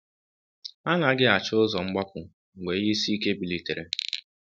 Ha anaghị achọ ụzọ mgbapụ mgbe ihe isi ike bilitere.